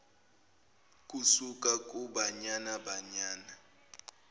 kusuka kubanyana banyana